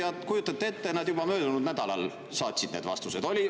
Ja kujutage ette, nad juba möödunud nädalal saatsid need vastused.